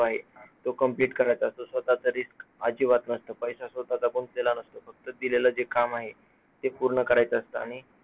आहे तो complete करतं असतो, स्वतःचा risk अजिबात नसतो, पैसा स्वतःचा पण नसतो, फक्त दिलेलं जे काम आहे ते पूर्ण करायचं असतं आणि